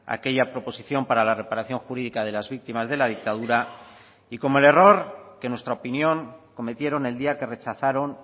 aquella proposición para la reparación jurídica de las víctimas de la dictadura y como el error que en nuestra opinión cometieron el día que rechazaron